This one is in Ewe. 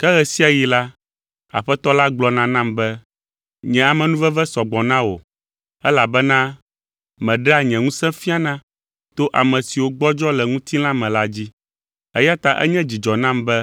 Ke ɣe sia ɣi la, Aƒetɔ la gblɔna nam be, “Nye amenuveve sɔ gbɔ na wò, elabena meɖea nye ŋusẽ fiana to ame siwo gbɔdzɔ le ŋutilã me la dzi.” Eya ta enye dzidzɔ nam be